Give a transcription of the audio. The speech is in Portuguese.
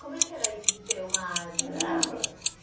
Como é que era isso de ter uma arma em casa?